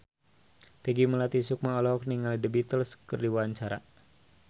Peggy Melati Sukma olohok ningali The Beatles keur diwawancara